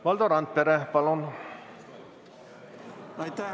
Valdo Randpere, palun!